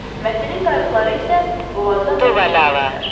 Mətin qayiqları isə boğazda növbə çəkirdilər.